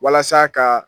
Walasa ka